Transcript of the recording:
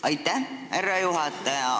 Aitäh, härra juhataja!